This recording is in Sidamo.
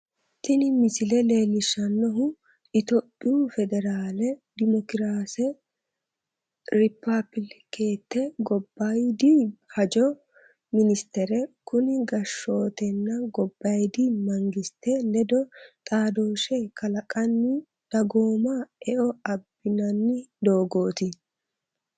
Tini misile leellishshannohu tophiyu federaale demokiraase ripaabilekete gobbaayidi hajo minisitere, kuni gashshooteno gobbaayidi mangiste ledo xaadoshshe kalaqqanni doogonna eo abbinanni doogooti.